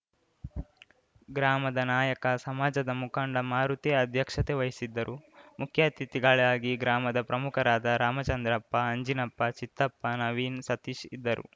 ಗ್ರಾಮದ ನಾಯಕ ಸಮಾಜದ ಮುಖಂಡ ಮಾರುತಿ ಅಧ್ಯಕ್ಷತೆ ವಹಿಸಿದ್ದರುಮುಖ್ಯ ಅತಿಥಿಗಳಾಗಿ ಗ್ರಾಮದ ಪ್ರಮುಖರಾದ ರಾಮಚಂದ್ರಪ್ಪ ಆಂಜಿನಪ್ಪ ಚಿತ್ತಪ್ಪ ನವೀನ್‌ ಸತೀಶ್‌ ಇದ್ದರು